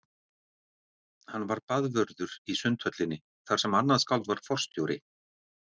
Hann var baðvörður í Sundhöllinni þar sem annað skáld var forstjóri.